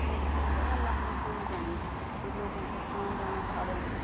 ऐंच बटेन बड़ा लंबा पुल बणी च जू लोगो को आन जाणा साधन च।